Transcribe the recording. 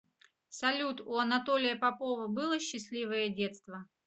салют у анатолия попова было счастливое детство